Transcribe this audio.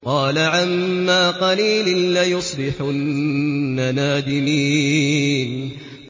قَالَ عَمَّا قَلِيلٍ لَّيُصْبِحُنَّ نَادِمِينَ